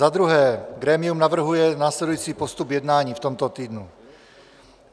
Za druhé grémium navrhuje následující postup jednání v tomto týdnu.